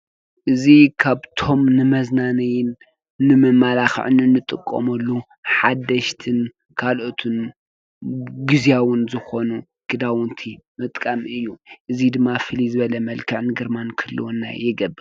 እዚ ካብቶም ንመዝናነይን ንመመላክዕን እንጥቀመሎም ሓደሽትን ካሎኦት ግዝያውን ዝኮኑ ኸዳውንቲ ምጥቃም እዩ። እዚ ድማ ፍሉይ ዝበለ መልክዕ ግርማን ክህልወና ይገብር።